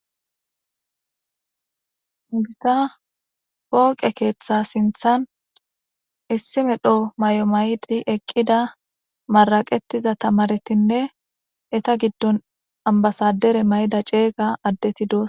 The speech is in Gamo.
Hayssa pooqe keeththa sinththan issi medha mayo mayidi eqqida maraqetiza tamaaretinne etta gidon ambasader mayida ceega addeti doosona.